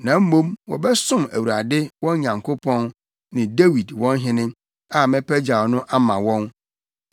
Na mmom wɔbɛsom Awurade, wɔn Nyankopɔn ne Dawid, wɔn hene, a mɛpagyaw no ama wɔn.